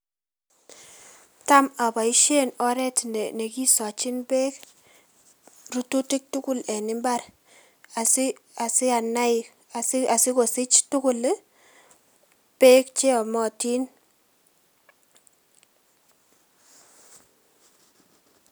Tam oboisien oret nekisochin beek rurutik tugul en mbar asi asianai asi asikosich tugul ii beek cheomotin.